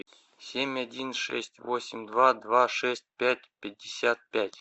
семь один шесть восемь два два шесть пять пятьдесят пять